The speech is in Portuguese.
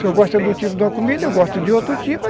gosta de um tipo de comida, eu gosto de outro tipo.